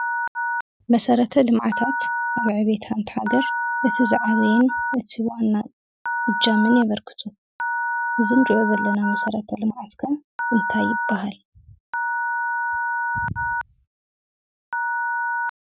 መሰረተ ልምዓታት ኣብ ዕብየት ሓንቲ ሃገር እቲ ዝዓበየን እቲ ዋናን እጃምን የበርክቱ። እዚ እንሪኦ ዘለና መሰረተ ልምዓት ከ እንታይ ይበሃል?